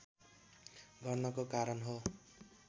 गर्नको कारण हो